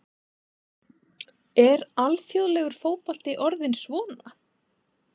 Er alþjóðlegur fótbolti orðinn svona?